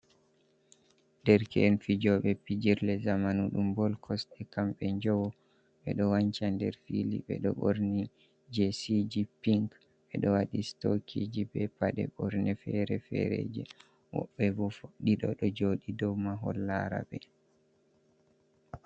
Derke’en fijooɓe pijirle zamanu ɗum bol kosɗe, kamɓe njowo. Ɓe ɗo wanca nder fili, ɓe ɗo ɓorni jesiji pink, ɓe ɗo waɗi stokiji be paɗe ɓorne fere-fereji, woɓɓe bo ɗiɗo ɗo jooɗi dou mahol laara ɓe.